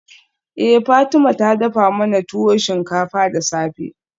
Eh Fatima ta dafa mana tuwo shinkafa da safe.